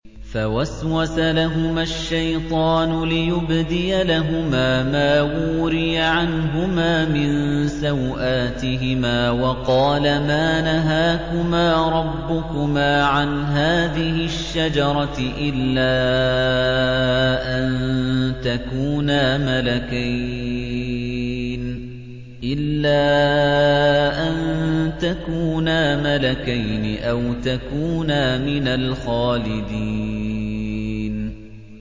فَوَسْوَسَ لَهُمَا الشَّيْطَانُ لِيُبْدِيَ لَهُمَا مَا وُورِيَ عَنْهُمَا مِن سَوْآتِهِمَا وَقَالَ مَا نَهَاكُمَا رَبُّكُمَا عَنْ هَٰذِهِ الشَّجَرَةِ إِلَّا أَن تَكُونَا مَلَكَيْنِ أَوْ تَكُونَا مِنَ الْخَالِدِينَ